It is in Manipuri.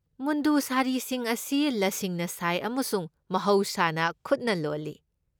ꯃꯨꯟꯗꯨ ꯁꯥꯔꯤꯁꯤꯡ ꯑꯁꯤ ꯂꯁꯤꯡꯅ ꯁꯥꯏ ꯑꯃꯁꯨꯡ ꯃꯍꯧꯁꯥꯅ ꯈꯨꯠꯅ ꯂꯣꯜꯂꯤ꯫